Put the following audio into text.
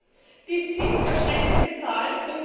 40 Das sind erschreckende Zahlen.